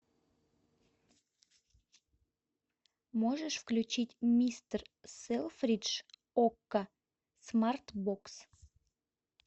можешь включить мистер селфридж окко смарт бокс